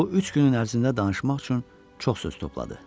Bu üç günün ərzində danışmaq üçün çox söz topladı.